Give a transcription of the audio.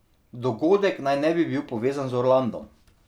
Dogodek naj ne bi bil povezan z Orlandom.